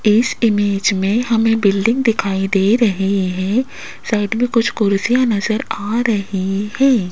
इस इमेज में हमें बिल्डिंग दिखाई दे रहे हैं साइड में कुछ कुर्सियां नजर आ रही हैं।